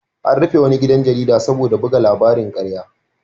An rufe wani gidan jarida saboda buga labarin ƙarya.